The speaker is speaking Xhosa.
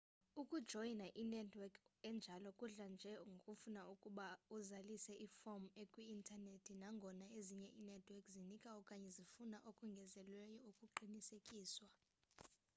ukujoyina inetwork enjalo kudla nje ngokufuna ukuba uzalise iform ekwiinternethi nangona ezinye inetwork zinika okanye zifuna okongezelelweyo ukuqisekiswa